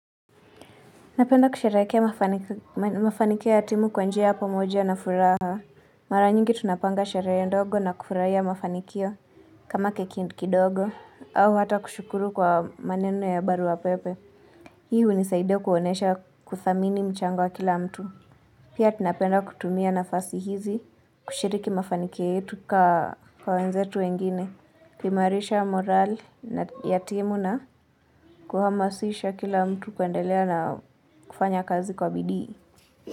Napenda kusheherekea mafa mafanikio ya timu kwa njia ya pomoja na furaha. Mara nyingi tunapanga sherehe ndogo na kufurahia mafanikio kama keki kidogo. Au hata kushukuru kwa maneno ya barua pepe. Hii hunisaidia kuonesha kuthamini mchango wa kila mtu. Pia tunapenda kutumia nafasi hizi kushiriki mafanikio yetu kaa kwa wenzetu wengine. Kuimarisha morale ya timu na kuhamasisha kila mtu kuendelea na kufanya kazi kwa bidii.